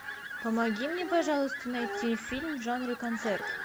помоги мне пожалуйста найти фильм в жанре концерт